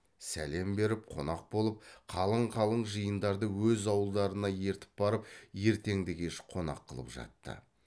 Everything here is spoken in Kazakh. сәлем беріп қонақ болып қалың қалың жиындарды өз ауылдарына ертіп барып ертеңді кеш қонақ қылып жатты